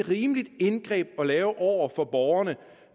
rimeligt indgreb at lave over for borgerne